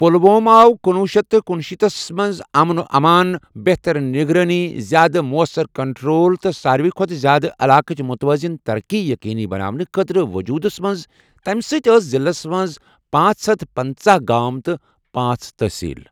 پلوۄم آو کنۄہ شیتھ کنُشیٖتھ مَنٛز امن و امان، بہتر نگرٲنی، زیٛادٕ مؤثر کنٹرول تہٕ سارؠوی کھۄتہٕ زیٛادٕ علاقٕچ متوازن ترقی یقینی بناونہٕ خٲطرٕ وجودَس مَنٛز تَمؠ ساتھ ٲسؠ ضِلَس مَنٛز پأنژہ ہتھ پنژاہ گام تہٕ پأنژھ تٲصیل۔